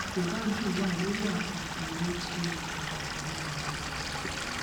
àkóbá jù wà lórí àpapọ owó tí o lè kùtà nínú ọjà rírà